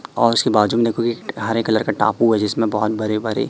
और उसके बाजू में देखो कि हरे कलर का टापू है जिसमें बहोत बड़े बड़े--